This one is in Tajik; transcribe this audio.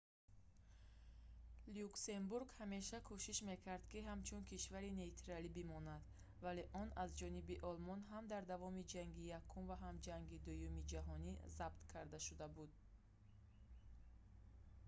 люксембург ҳамеша кӯшиш мекард ки ҳамчун кишварӣ нейтралӣ бимонад вале он аз ҷониби олмон ҳам дар давоми ҷанги якум ва ҳам ҷанги дуюми ҷаҳонӣ забт карда шуда буд